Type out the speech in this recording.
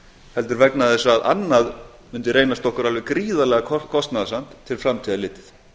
heldur vegna þess að annað mundi reynast okkur alveg gríðarlega kostnaðarsamt til framtíðar litið